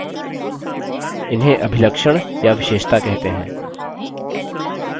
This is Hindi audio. इन्हें अभिलक्षण या विशेषता कहते हैं